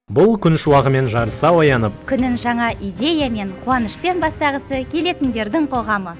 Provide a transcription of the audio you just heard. бұл күн шуағымен жарыса оянып күнін жаңа идеямен қуанышпен бастағысы келетіндердің қоғамы